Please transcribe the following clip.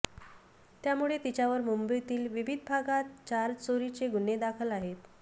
त्यामुळे तिच्यावर मुंबईतील विविध भागात चार चोरीचे गुन्हे दाखल आहेत